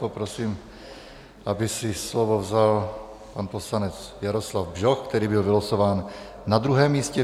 Poprosím, aby si slovo vzal pan poslanec Jaroslav Bžoch, který byl vylosován na druhém místě.